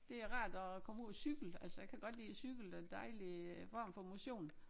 Det er rart at komme ud og cykle altså jeg kan godt lide at cykle det en dejlig øh form for motion